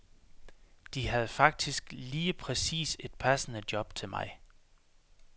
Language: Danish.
De havde faktisk lige præcis et passende job til mig.